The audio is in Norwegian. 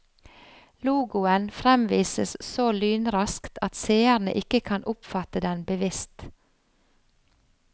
Logoen fremvises så lynraskt at seerne ikke kan oppfatte den bevisst.